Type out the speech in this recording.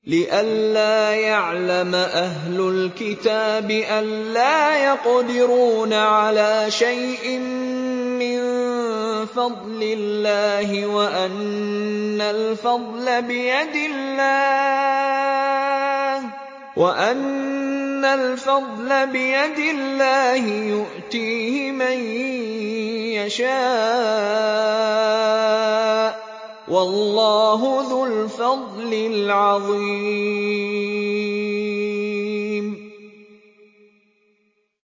لِّئَلَّا يَعْلَمَ أَهْلُ الْكِتَابِ أَلَّا يَقْدِرُونَ عَلَىٰ شَيْءٍ مِّن فَضْلِ اللَّهِ ۙ وَأَنَّ الْفَضْلَ بِيَدِ اللَّهِ يُؤْتِيهِ مَن يَشَاءُ ۚ وَاللَّهُ ذُو الْفَضْلِ الْعَظِيمِ